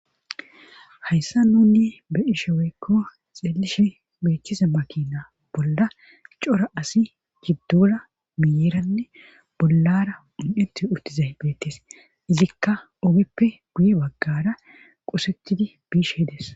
Hayssa nuuni be7ishe woykko xeelishe beettiza makina bolla cora asi giddora miyyeranne bollar un7etti uttizay beettes izikka ogeppe guye baggaara qosettidi bishe dees.